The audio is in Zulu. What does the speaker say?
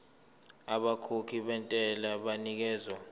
abakhokhi bentela banikezwa